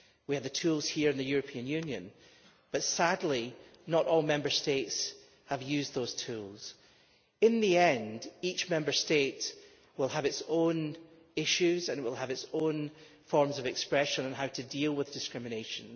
We have the tools here in the European Union but, sadly, not all Member States have used those tools. In the end, each Member State will have its own issues and its own forms of expression in terms of how to deal with discrimination.